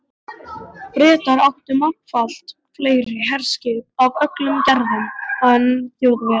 Bretar áttu margfalt fleiri herskip af öllum gerðum en Þjóðverjar.